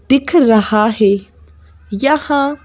दिख रहा है यहाँ--